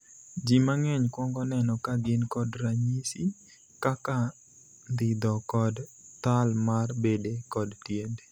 Jii mang'eny kuongo neno ka gin kod ranyisi, kaka ndhidho kod thal mar bede kod tiende.